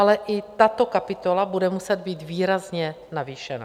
Ale i tato kapitola bude muset být výrazně navýšena.